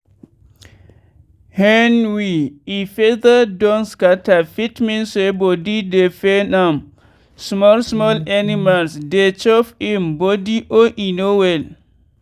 hen wey e feather don scatter fit mean say body dey fain am small small animals dey chop im badily or e no well.